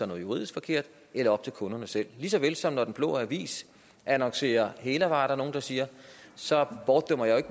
noget juridisk forkert eller op til kunderne selv lige så vel som når den blå avis annoncerer hælervarer er der nogle der siger så bortdømmer jeg